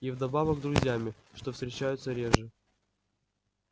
и вдобавок друзьями что встречается реже